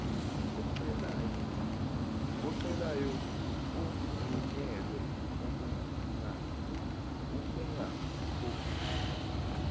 ocelayo evunyelwa ukungakhokhi